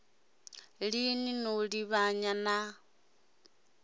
ili no li livhanya na